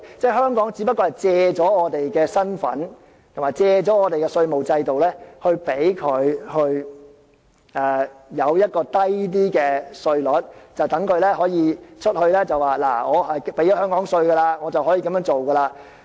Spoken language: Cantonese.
即只是借香港的身份和我們的稅務制度，令他們享有較低的稅率，並且向外表示：我已繳納香港稅項，可以這樣做。